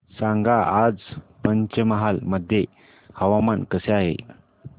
सांगा आज पंचमहाल मध्ये हवामान कसे आहे